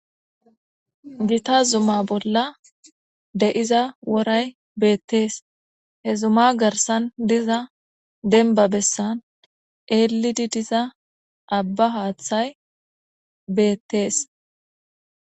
gita zuma bolla de7iza woray beettees he zuma garsan diza denba bessan eelidi diza abba haaththay beettees